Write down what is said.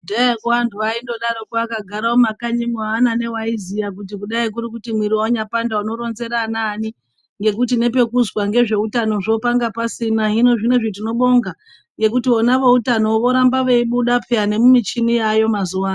Kudhayako antu aingodaroko akagara mumakanyimwo aana newaiziya kuti mwiri yanyapanda unoronzera anani ngekuti nepekuzwa zveutanozvo panga pasina hino zvinezvi tinobonga ngekuti vona veutano voramba veibuda peya nemumichini yaayo mazuwanaya.